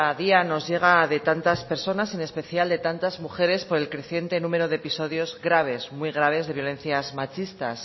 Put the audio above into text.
día nos llega de tantas personas en especial de tantas mujeres por el creciente número de episodios graves muy graves de violencias machistas